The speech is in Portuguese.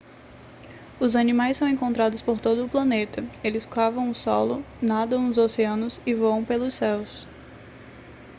os animais são encontrados por todo o planeta eles cavam o solo nadam nos oceanos e voam pelo céu